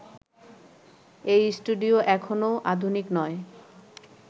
এই স্টুডিও এখনও আধুনিক নয়